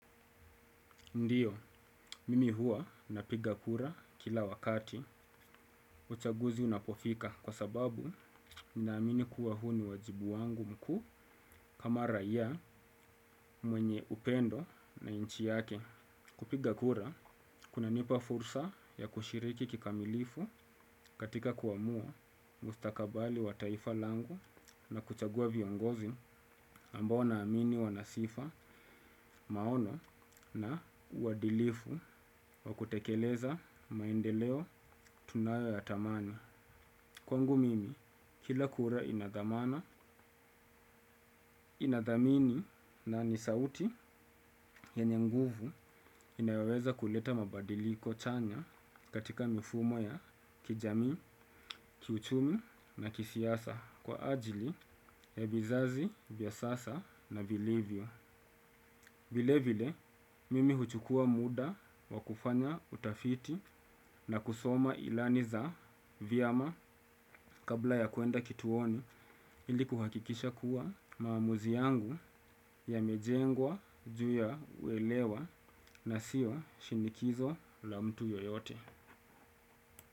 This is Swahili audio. Ndiyo, mimi hua napiga kura kila wakati uchaguzi unapofika kwa sababu ninaamini kuwa huu ni wajibu wangu mkuu kama raiya mwenye upendo na nchi yake. Kupiga kura, kuna nipa fursa ya kushiriki kikamilifu katika kuamua mustakabali wa taifa langu na kuchagua viongozi ambao naamini wa nasifa maono na uwadilifu wa kutekeleza maendeleo tunayo ya tamani. Kwangu mimi, kila kura inadhamana, inadhamini na nisauti ye nyenguvu inayoweza kuleta mabadiliko chanya katika mifumo ya kijamii, kiuchumi na kisiasa kwa ajili ya vizazi, vyasasa na vilivyo. Vile vile, mimi huchukua muda wa kufanya utafiti na kusoma ilani za vyama kabla ya kwenda kituoni ili kuhakikisha kuwa maamuzi yangu ya mejengwa juuya uelewa na siwa shinikizo la mtu yoyote.